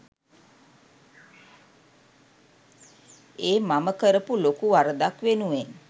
ඒ මම කරපු ලොකූ වරදක් වෙනුවෙන්